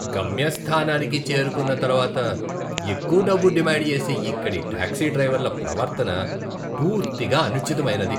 గమ్యస్థానానికి చేరుకున్న తర్వాత ఎక్కువ డబ్బు డిమాండ్ చేసే ఇక్కడి టాక్సీ డ్రైవర్ల ప్రవర్తన పూర్తిగా అనుచితమైనది.